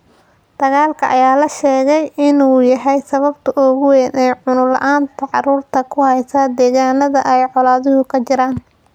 Dagaalka ayaa la sheegay inuu yahay sababta ugu weyn ee cunno la’aanta carruurta ku heysa deegaanada ay colaaduhu ka jiraan.